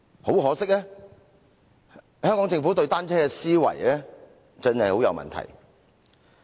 很可惜，香港政府對單車的思維真的很有問題。